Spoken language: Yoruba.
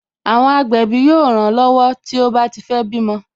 Àwọn agbẹ̀bí yóò ran lọ́wọ́ tó bá ti fé bímọ